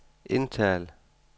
indtal